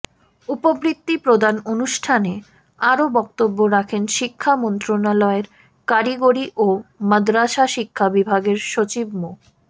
উপবৃত্তি প্রদান অনুষ্ঠানে আরো বক্তব্য রাখেন শিক্ষা মন্ত্রণালয়ের কারিগরি ও মাদরাসা শিক্ষা বিভাগের সচিব মো